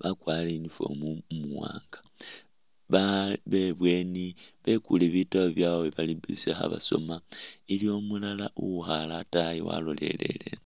bakwarire uniform umuwaaanga, ba be ibweeni bekule bitabu byabwe bali busy kha basoma, iliwo umulala uwikhaale ataayi walolelele eno.